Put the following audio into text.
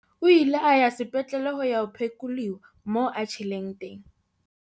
O ile a ya sepetlele ho ya phekolewa moo a tjheleng teng.